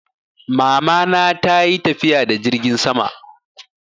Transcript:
Mamana ta yi tafiya da jirgin sama.